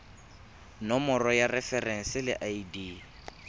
nomoro ya referense le id